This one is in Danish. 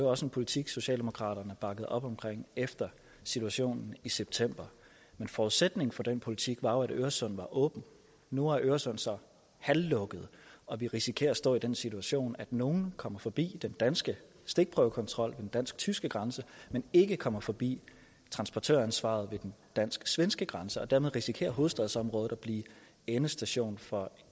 også en politik socialdemokraterne bakkede op om efter situationen i september men forudsætningen for den politik var jo at øresund var åben nu er øresund så halvlukket og vi risikerer at stå i den situation at nogle kommer forbi den danske stikprøvekontrol ved den dansk tyske grænse men ikke kommer forbi transportøransvaret ved den dansk svenske grænse og dermed risikerer hovedstadsområdet at blive endestation for